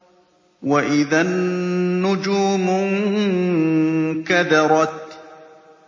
وَإِذَا النُّجُومُ انكَدَرَتْ